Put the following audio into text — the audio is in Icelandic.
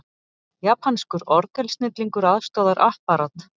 Japanskur orgelsnillingur aðstoðar Apparat